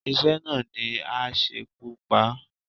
Iṣẹ́ náà ni á ṣekú pa á.